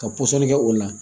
Ka pɔsɔni kɛ o la